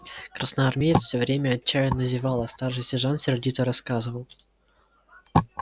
красноармеец все время отчаянно зевал а старший сержант сердито рассказывал